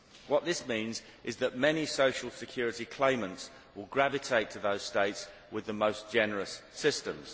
What this means is that many social security claimants will gravitate to those states with the most generous systems.